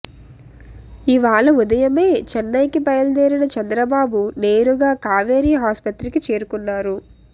ఇవాళ ఉదయమే చెన్నైకి బయలుదేరిన చంద్రబాబు నేరుగా కావేరీ ఆస్పత్రికి చేరుకున్నారు